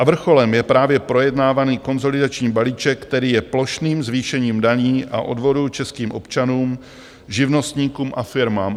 A vrcholem je právě projednávaný konsolidační balíček, který je plošným zvýšením daní a odvodů českým občanům, živnostníkům a firmám.